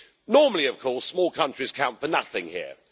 Normally, of course, small countries count for nothing here.